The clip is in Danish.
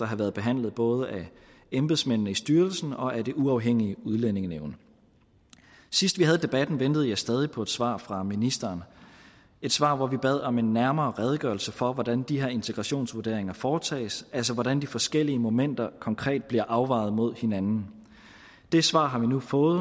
have været behandlet både af embedsmændene i styrelsen og af det uafhængige udlændingenævn sidst vi havde debatten ventede jeg stadig på et svar fra ministeren et svar hvor vi bad om en nærmere redegørelse for hvordan de her integrationsvurderinger foretoges altså hvordan de forskellige momenter konkret blev afvejet mod hinanden det svar har vi nu fået